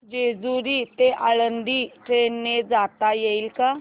जेजूरी ते आळंदी ट्रेन ने जाता येईल का